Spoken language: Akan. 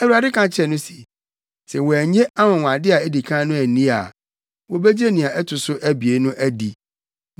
Awurade ka kyerɛɛ no se, “Sɛ wɔannye anwonwade a edi kan no anni a, wobegye nea ɛto so abien no adi.